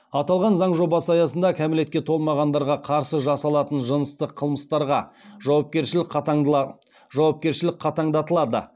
аталған заң жобасы аясында кәмелетке толмағандарға қарсы жасалатын жыныстық қылмыстарға жауапкершілік қатаңдатылады